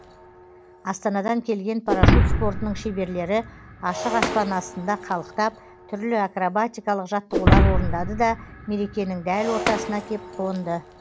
астанадан келген парашют спортының шеберлері ашық аспан астында қалықтап түрлі акробатикалық жаттығулар орындады да мерекенің дәл ортасына кеп қонды